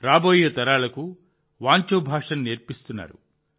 రాబోయే తరాలకు వాంచో భాషను నేర్పిస్తున్నారు